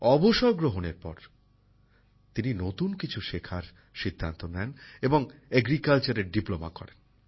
অবসর গ্রহণের পর তিনি নতুন কিছু শেখার সিদ্ধান্ত নেন এবং কৃষি বিজ্ঞানে ডিপ্লোমা করেন